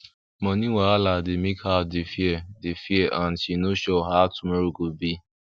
money wahala don make her dey fear dey fear and no sure how tomorrow go be